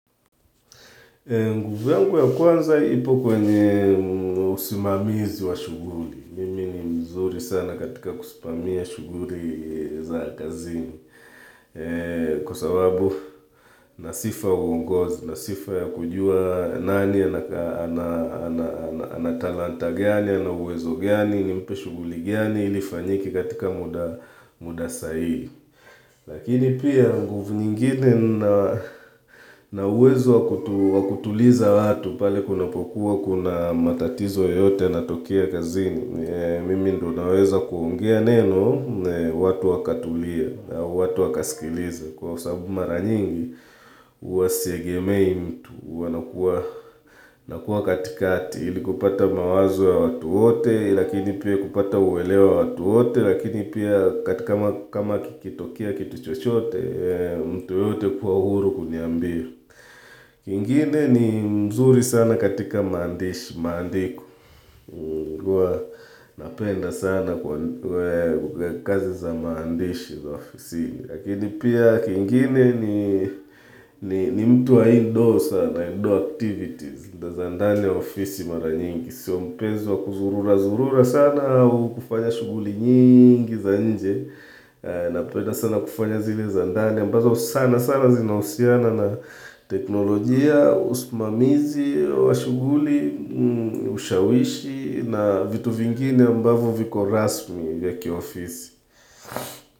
Nguvu yangu ya kwanza ipo kwenye usimamizi wa shughuli, mimi ni mzuri sana katika kusimamia shughuli za kazini Kwa sababu nasifa uongozi, nasifa ya kujua nani, ana talanta gani, ana uwezo gani, ni mpe shughuli gani, ili ifanyike katika muda sahihi Lakini pia nguvu nyingine na uwezo wa kutuliza watu pale kunapokuwa kuna matatizo yoyote yanatokea kazini Mimi ndo naweza kuongea neno watu wakatulia, watu wakaskiliza kwa sababu mara nyingi huwa siegemei mtu, huwa nakuwa katikati ili kupata mawazo ya watu wote, lakini pia kupata uelewa watu wote Lakini pia kama kikitokea kitu chochote, mtu yeyote kuwa huru uniambie kingine ni mzuri sana katika maandishi, maandiko huwa napenda sana kazi za maandishi za ofisini lakini pia kingine ni mtu wa indo sana, indo activities. Za ndani ya ofisi mara nyingi, siyo mpenzi wa kuzurura zurura sana au kufanya shughuli nyingi za nje na penda sana kufanya zile za ndani ambazo sana sana zinahusiana na teknolojia, usimamizi wa shughuli, ushawishi na vitu vingine ambavo viko rasmi vya kiofisi.